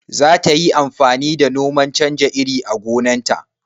Zata yi amfani da noman canja iri a gonan ta?